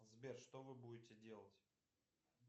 сбер что вы будете делать